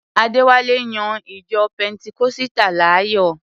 Adéwálé yan ìjọ pẹntikọ́sítà láàyò.